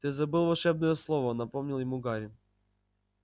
ты забыл волшебное слово напомнил ему гарри